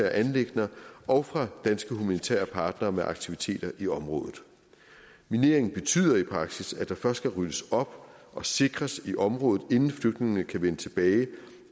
anliggender og fra danske humanitære partnere med aktiviteter i området mineringen betyder i praksis at der først skal ryddes op og sikres i området inden flygtningene kan vende tilbage